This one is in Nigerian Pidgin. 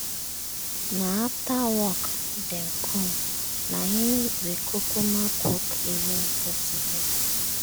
na after work dem com na im we kukuma cook evening food together.